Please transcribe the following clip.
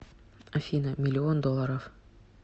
афина миллион долларов